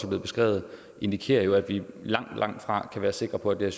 blevet beskrevet indikerer jo at vi langt langt fra kan være sikre på at det